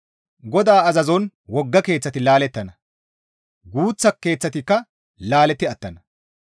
GODAA azazon wogga keeththati laalettana; guuththa keeththatikka laaletti attana.